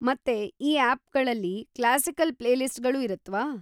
ಮತ್ತೇ ಈ ಆಪ್‌ಗಳಲ್ಲಿ ಕ್ಲಾಸಿಕಲ್ ಪ್ಲೇಲಿಸ್ಟ್‌ಗಳೂ ಇರುತ್ವಾ?